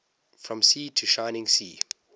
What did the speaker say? from sea to shining sea